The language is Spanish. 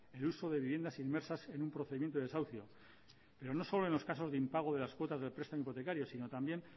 el uso de viviendas inmersas en un procedimiento de desahucio pero no solo en los casos de impago de las cuotas del prestamo hipotecario sino también